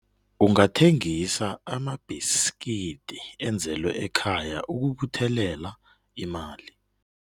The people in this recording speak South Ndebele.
Ungathengisa amabhiskidi enzelwe ekhaya ukubuthelela imali.